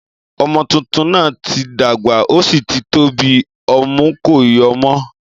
ọmọ tuntun náà tí dàgbà o sí tí tóbi, ọmú kò yóo mọ́